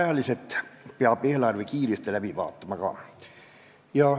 Eelarve peab ka ajaliselt kiiresti läbi vaatama.